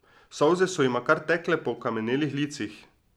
Solze so jima kar tekle po okamnelih licih.